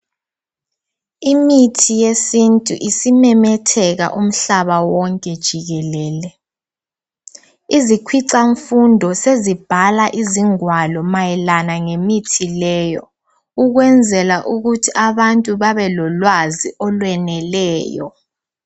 Imithi yesintu isimemetheka umhlaba wonke jikelele. Izikhwicamfundo sezibhala ingwalo mayelana ngemithi leyo ukwenzela ukuthi abantu babelolwazi olweneleyo.